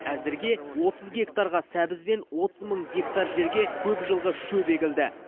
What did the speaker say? әзірге отыз гектарға сәбіз бен отыз мың гектар жерге көкжылғы шөп егілді